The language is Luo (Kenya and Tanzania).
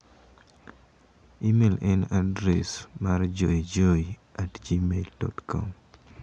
imel en adres mar joejoe@gmail.com